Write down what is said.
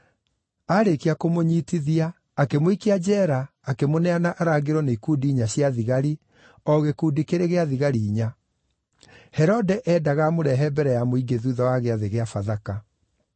Aarĩkia kũmũnyiitithia, akĩmũikia njeera akĩmũneana arangĩrwo nĩ ikundi inya cia thigari, o gĩkundi kĩrĩ gĩa thigari inya. Herode eendaga amũrehe mbere ya mũingĩ thuutha wa Gĩathĩ gĩa Bathaka.